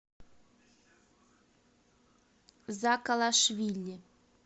закалашвили